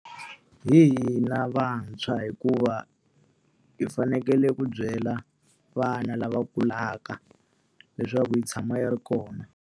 Hi hina vantshwa hikuva hi fanekele ku byela vana lava kulaka, leswaku yi tshama yi ri kona.